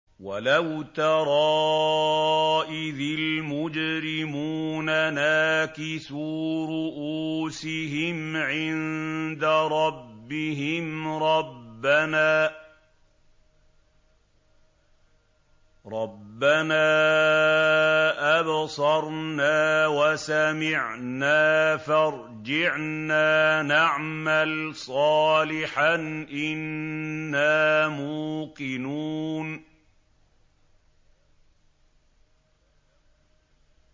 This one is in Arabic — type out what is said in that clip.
وَلَوْ تَرَىٰ إِذِ الْمُجْرِمُونَ نَاكِسُو رُءُوسِهِمْ عِندَ رَبِّهِمْ رَبَّنَا أَبْصَرْنَا وَسَمِعْنَا فَارْجِعْنَا نَعْمَلْ صَالِحًا إِنَّا مُوقِنُونَ